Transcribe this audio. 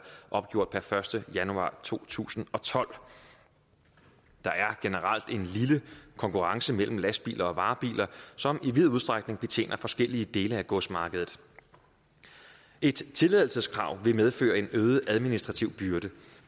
opgjort den første januar to tusind og tolv der er generelt en lille konkurrence mellem lastbiler og varebiler som i vid udstrækning betjener forskellige dele af godsmarkedet et tilladelseskrav vil medføre en øget administrativ byrde